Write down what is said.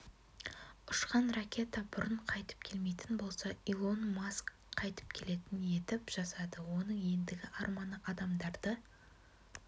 ұшқан ракета бұрын қайтып келмейтін болса илон маск қайтып келетін етіп жасады оның ендігі арманы адамдарды